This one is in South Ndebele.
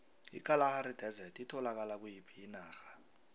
ikalahari desert itholakala kuyiphi inarha